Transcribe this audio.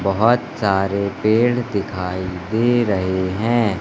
बहोत सारे पेड़ दिखाई दे रहे हैं।